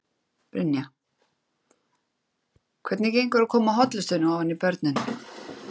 Brynja: Hvernig gengur að koma hollustunni ofan í börnin?